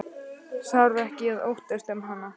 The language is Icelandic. Þarf ekki að óttast um hana.